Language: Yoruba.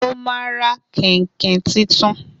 Mo ma ra kèǹkè titun